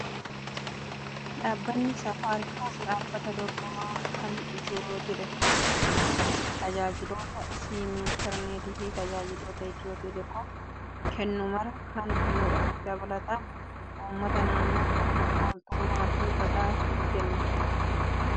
Dhaabbanni saafaariikoom dhaabbata dorgomaa kan Itiyootelekoom kan tajaajiloota siimii, intarneetii fi tajaajiloota Itiyoo telekoom kennu maraa kan kennudha. Dabalataan uummata naannoof tola ooltummaa fi badhaasa ni kenna. Dhaabbanni saafaariikoom si badhaasee beekaa?